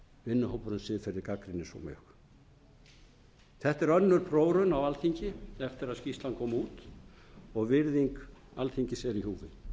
vinnuhópur um siðferði gagnrýnir svo mjög þetta er önnur prófraun á alþingi eftir að skýrslan kom út og virðing alþingis er í húfi frú